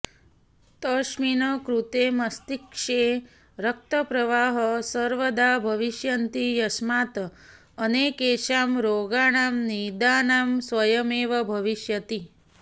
तस्मिन् कृते मस्तिष्के रक्तप्रवाहः सर्वदा भविष्यति यस्मात् अनेकेषां रोगाणां निदानं स्वयमेव भविष्यति